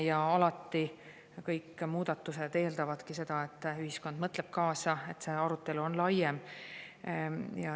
Ja alati kõik muudatused eeldavadki seda, et ühiskond mõtleb kaasa, et arutelu on laiem.